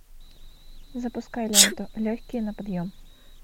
запускай ленту легкие на подъем